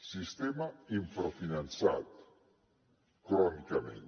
sistema infrafinançat crònicament